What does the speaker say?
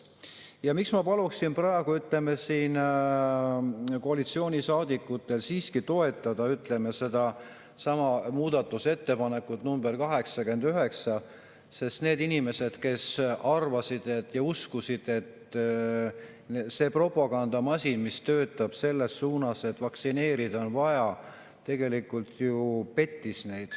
Ja miks ma palun praegu koalitsioonisaadikutel siiski toetada sedasama muudatusettepanekut nr 89, neid inimesi, kes uskusid seda propagandamasinat, mis töötas selles suunas, et vaktsineerida on vaja, tegelikult ju peteti.